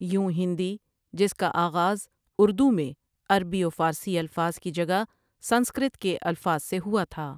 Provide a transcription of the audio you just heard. یوں ہندی جس کا آغاز اردو میں عربی و فارسی الفاظ کی جگہ سنسکرت کے الفاظ سے ہوا تھا ۔